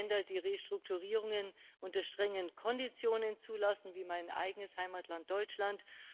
Wir haben Länder, die Restrukturierungen unter strengen Konditionen zulassen, wie mein eigenes Heimatland Deutschland.